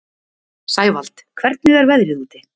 Sævald, hvernig er veðrið úti?